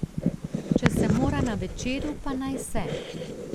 Če se mora na Večeru, pa naj se.